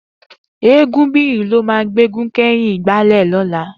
Egunbiyi ló mà gbégún kẹ̀yín igbálẹ̀ lọ̀lá